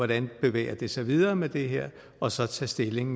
det bevæger sig videre med det her og så tage stilling